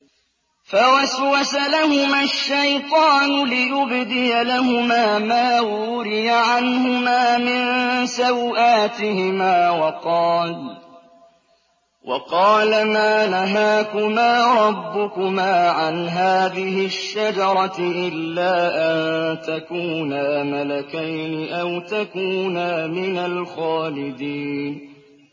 فَوَسْوَسَ لَهُمَا الشَّيْطَانُ لِيُبْدِيَ لَهُمَا مَا وُورِيَ عَنْهُمَا مِن سَوْآتِهِمَا وَقَالَ مَا نَهَاكُمَا رَبُّكُمَا عَنْ هَٰذِهِ الشَّجَرَةِ إِلَّا أَن تَكُونَا مَلَكَيْنِ أَوْ تَكُونَا مِنَ الْخَالِدِينَ